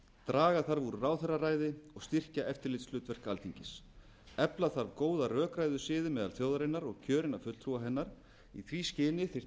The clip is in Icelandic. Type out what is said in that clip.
draga þarf úr ráðherraræði og styrkja eftirlitshlutverk alþingis efla þarf góða rökræðusiði meðal þjóðarinnar og kjörinna fulltrúa hennar í því skyni þyrfti að